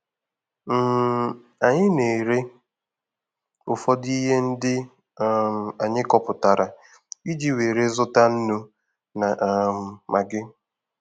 um Anyị na-ere ụfọdụ ihe ndị um anyị kọpụtara iji were zụta nnu na um magị.